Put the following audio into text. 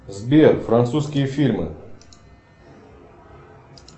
сбер французские фильмы